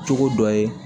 Cogo dɔ ye